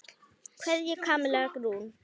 Kveðja, Kamilla Rún.